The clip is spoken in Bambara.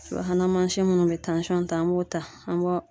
Subahan mansin minnu bɛ tansɔn ta, an b'o ta an b'o